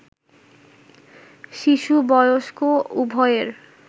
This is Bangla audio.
শিশু, বয়স্ক উভয়ের